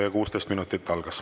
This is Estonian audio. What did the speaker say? Teie 16 minutit algas.